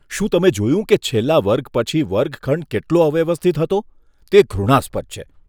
શું તમે જોયું કે છેલ્લા વર્ગ પછી વર્ગખંડ કેટલો અવ્યવસ્થિત હતો? તે ઘૃણાસ્પદ છે.